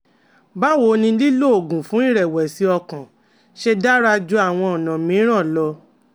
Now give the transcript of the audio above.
Báwo ni lílo oògùn fún ìrẹ̀wẹ̀sì ọkàn ṣe dára ju àwọn ọ̀nà mìíràn lọ?